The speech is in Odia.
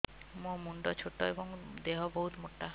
ମୋ ମୁଣ୍ଡ ଛୋଟ ଏଵଂ ଦେହ ବହୁତ ମୋଟା